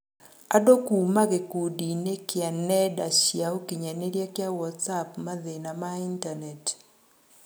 Andũ kuuma gĩkundiinĩ kia ng'enda cia ũkinyanĩria kia WhatsApp; mathĩna ma itaneti.